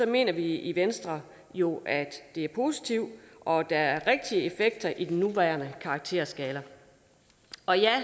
mener vi i venstre jo at det er positivt og at der er rigtige gode effekter i den nuværende karakterskala